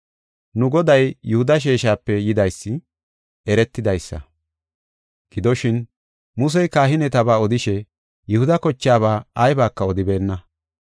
Nu Goday Yihuda sheeshape yidaysi eretidaysa. Gidoshin, Musey kahineteba odishe Yihuda kochaaba aybaka odibeenna.